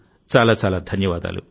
చాలా చాలా ధన్యవాదాలు